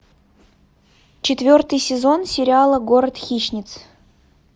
четвертый сезон сериала город хищниц